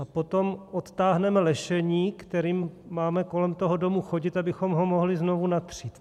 A potom odtáhneme lešení, kterým máme kolem toho domu chodit, abychom ho mohli znovu natřít.